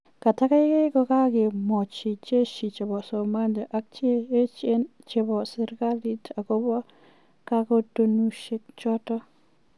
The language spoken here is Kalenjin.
"Kitakaikai kokakimwochi jeshi chepo Somalia ak cheechen chepo serkali akopo kakotunoshek chotok